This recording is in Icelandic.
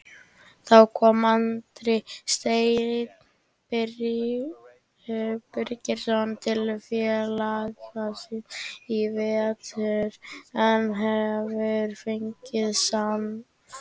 Þá kom Andri Steinn Birgisson til félagsins í vetur en hefur fengið samningnum rift.